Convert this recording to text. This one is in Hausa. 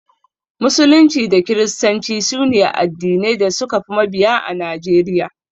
Musulunci da kiristanci sune addinai da suka fi mabiya a Najeriya.